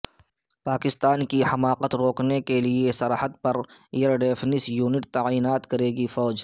پاکستان کی حماقت روکنے کے لئے سرحد پر ایئر ڈیفینس یونٹ تعینات کرے گی فوج